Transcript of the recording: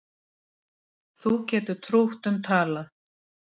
Þú getur trútt um talað